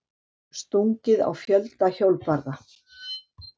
Stungið á fjölda hjólbarða